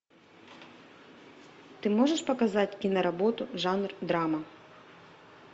ты можешь показать киноработу жанр драма